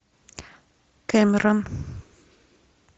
кэмерон